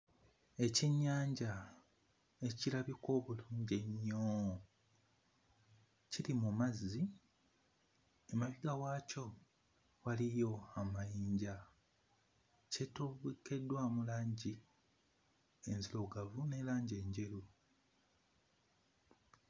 Ekyennyanja ekirabika obulungi ennyo kiri mu mazzi, emabega waakyo waliyo amayinja. Kitobekeddwamu langi enzirugavu ne langi enjeru.